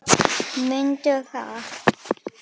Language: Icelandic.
Mundu það.